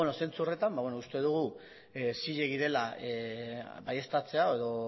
zentzu horretan uste dugu zilegi dela baieztatzea edo